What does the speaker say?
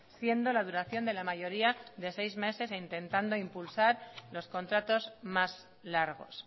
siendo la duración de la mayoría de seis meses e intentando impulsar los contratos más largos